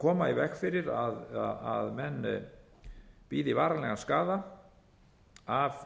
koma í veg fyrir að menn bíði varanlegan skaða af